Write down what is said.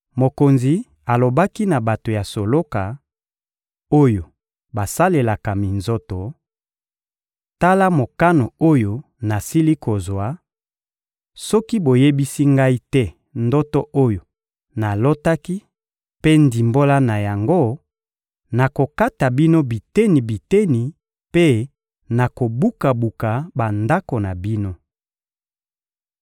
Mokonzi alobaki na bato ya soloka, oyo basalelaka minzoto: — Tala mokano oyo nasili kozwa: «Soki boyebisi ngai te ndoto oyo nalotaki mpe ndimbola na yango, nakokata bino biteni-biteni mpe nakobuka-buka bandako na bino.